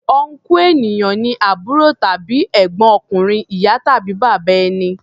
Ọnkú ènìyàn ni àbúrò tàbí ègbọ́n ọkùnrin ìyá tàbí bàbá ẹni.